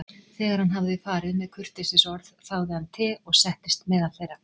Þegar hann hafði farið með kurteisisorð þáði hann te og settist meðal þeirra.